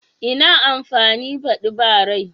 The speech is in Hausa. Ina amfani badi ba rai?